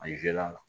A la